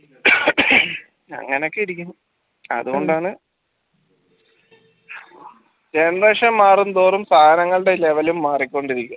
അങ്ങനൊക്കിരിക്കും അതുകൊണ്ടാണ് generation മാറുംതോറും സാധനങ്ങളുടെ level ലും മാറിക്കൊണ്ടിരിക്കും